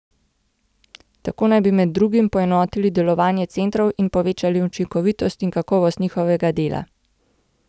Tako naj bi med drugim poenotili delovanje centrov in povečali učinkovitost in kakovost njihovega dela.